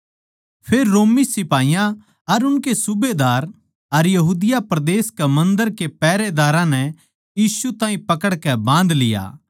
फेर रोमी सिपाहीयाँ अर उनकै सूबेदार अर यहूदिया परदेस के मन्दर के पैहरेदारां नै यीशु ताहीं पकड़कै जुड़ लिया